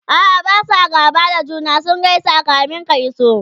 a'a Basu gaba da juna ,sun gaisa kamin ka iso